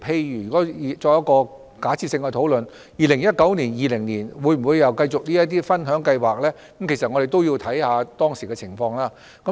如果我們作假設性的討論 ，2019-2020 年度再次推出這類分享計劃與否，將須視乎當時的情況而定。